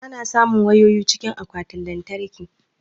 Ana samun wayoyi cikin akwatin lantarkin